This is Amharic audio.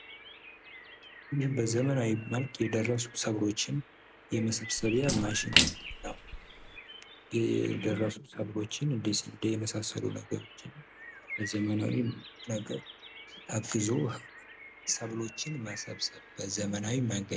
ይህ ዘመናዊ በሆነ መልኩ የደረሱ ሰብሎችን መሰብስቢያ ማሽን ነው። የደረሱ ሰብሎችን እንደ ስንዴ የመሳሰሉ ሰብሎችን በዘመናዊ ነገር ታግዞ ሰብሎችን መሰብሰብ በዘመናዊ መንገድ።